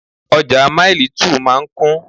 Ọjà Maili2 máa ń kún